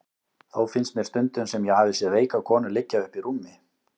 Þó finnst mér stundum sem ég hafi séð veika konu liggja uppi í rúmi.